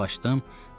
Kitabı açdım.